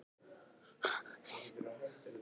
Hvenær byrjar leikurinn í kvöld?